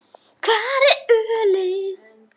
Hvar er ölið?